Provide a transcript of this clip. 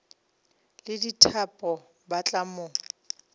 le dithapo ba tla mo